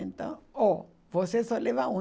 Então, ó, você só leva um.